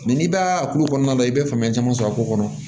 n'i b'a tulo kɔnɔna la i bɛ faamuya caman sɔrɔ a ko kɔnɔ